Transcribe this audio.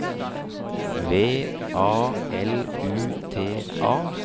V A L U T A